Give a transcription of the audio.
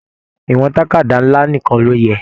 Ìwọ̀n tàkádá nlá nìkàn ló yẹ.